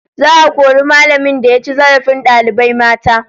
Za'a kori mallamin da ya ci zarafin dalibai mata